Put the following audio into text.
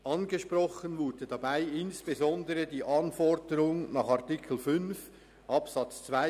Angesprochen wurde dabei insbesondere die Anforderung nach Artikel 5 Absatz 2